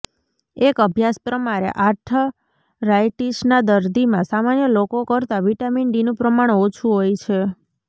એક અભ્યાસ પ્રમાણે આર્થરાઇટીસના દર્દીમાં સામાન્ય લોકો કરતાં વિટામીન ડીનું પ્રમાણ ઓછું હોય છે